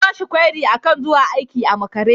An bashi kwairi akan zuwa aiki a makare.